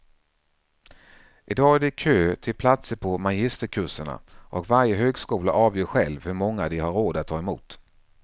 I dag är det kö till platser på magisterkurserna och varje högskola avgör själv hur många de har råd att ta emot.